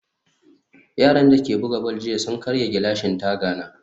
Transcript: yaran dake buga ball jiya sun karya gilashin tagani